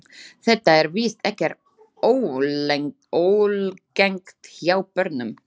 Þetta er víst ekkert óalgengt hjá börnum.